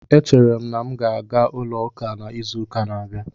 Echere m na m ga-aga ulo uka na izuuka na-abia